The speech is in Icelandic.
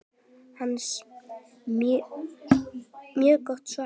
Hansa: Mjög gott svar.